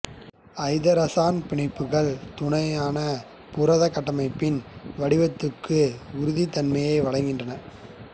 ஐதரசன் பிணைப்புக்கள் துணையான புரதக் கட்டமைப்பின் வடிவத்துக்கு உறுதித்தன்மையை வழங்குகின்றன